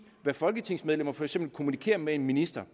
hvad folketingsmedlemmer for eksempel kommunikerer med en minister